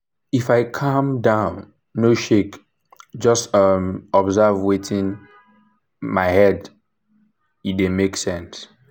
if i calm um down no shake just dey um observe wetin dey um my head e dey make sense.